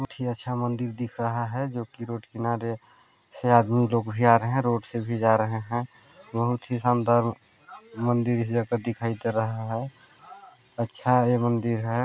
बहुत ही अच्छा मंदिर दिख रहा है जोकि रोड़ से आदमी लोग भी आ रहे है रोड़ से भी जा रहे है बहुत ही शानदार मंदिर दिखाई दे रहा है अच्छा ये मंदिर हैं। ]